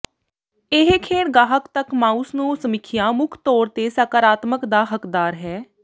ਇਹ ਖੇਡ ਗਾਹਕ ਤੱਕ ਮਾਊਸ ਨੂੰ ਸਮੀਖਿਆ ਮੁੱਖ ਤੌਰ ਤੇ ਸਕਾਰਾਤਮਕ ਦਾ ਹੱਕਦਾਰ ਹੈ